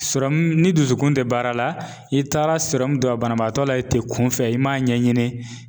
ni dusukun tɛ baara la, i taara don a banabaatɔ la, i tɛ kunfɛ i m'a ɲɛɲini